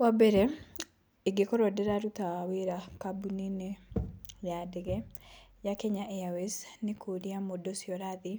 Wa mbere ingĩkorwo ndĩraruta wĩra kambũni-inĩ ya ndege ya Kenya Airways, nĩ kũria mũndũ ũcio ũrathiĩ,